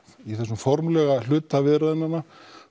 í þessa formlega hluta viðræðnanna